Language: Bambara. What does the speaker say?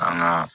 An ka